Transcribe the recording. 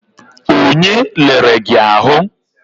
Onye lere gị ahụ?